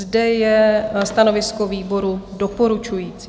Zde je stanovisko výboru doporučující.